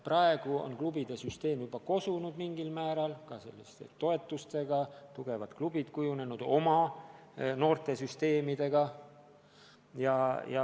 Praegu on klubide süsteem mingil määral juba kosunud, on välja kujunenud toetustega tugevad klubid, kellel on ka oma noortesüsteem.